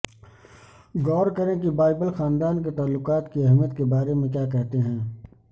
غور کریں کہ بائبل خاندان کے تعلقات کی اہمیت کے بارے میں کیا کہتے ہیں